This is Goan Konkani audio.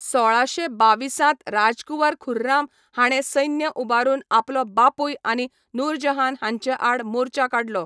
सोळाशे बाविसांत राजकुंवर खुर्राम हाणें सैन्य उबारून आपलो बापूय आनी नूरजहान हांचेआड मोर्चा काडलो.